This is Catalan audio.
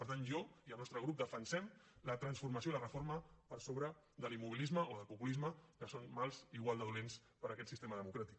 per tant jo i el nostre grup defensem la transformació i la reforma per sobre de l’immobilisme o del populisme que són mals igual de dolents per a aquest sistema democràtic